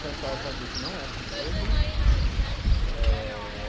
Cantar, já vi que não é comigo. Eh